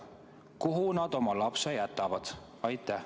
Kuhu nad oma lapse jätavad?